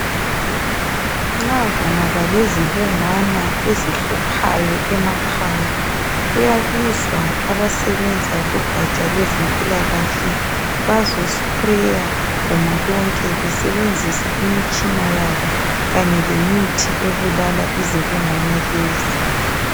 Nxa kungaba lezibungwana ezihluphayo emakhaya kuyabizwa abasebenza kugaja lwezempilakahle bazo"sprayer" iguma lonke besebenzisa imitshina yabo kanye lemithi ebulala izibungwana lezi.